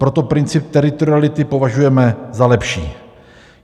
Proto princip teritoriality považujeme za lepší.